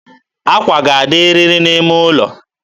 akwa ga-adịrịrị n'ime ụlọ.